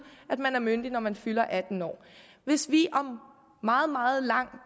at man er myndig når man fylder atten år hvis vi om meget meget lang